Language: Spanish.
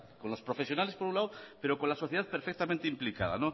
con los profesionales por un lado pero con la sociedad perfectamente implicada